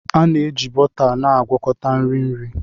A na-eji bọta na-agwakọta nri nri